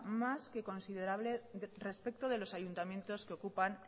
más que considerable respecto de los ayuntamientos que ocupan